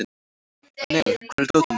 Annel, hvar er dótið mitt?